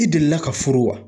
I delila ka furu wa?